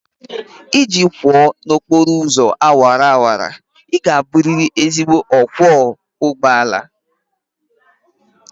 Iji kwọọ n'okporo ụzọ awara awara, ị ga-abụrịrị ezigbo ọkwọ ụgbọ ala